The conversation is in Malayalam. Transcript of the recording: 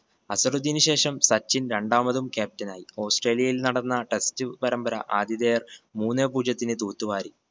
അസറുദ്ധീന് ശേഷം സച്ചിൻ രണ്ടാമതും captain ആയി. ഓസ്‌ട്രേലിയയിൽ നടന്ന test പരമ്പര ആതിഥേയർ മൂന്നേ പൂജ്യത്തിന് തൂത്തുവാരി.